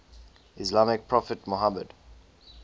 islamic prophet muhammad